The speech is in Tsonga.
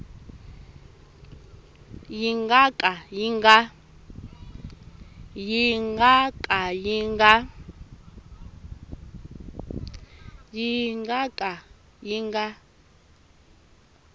yi nga ka yi nga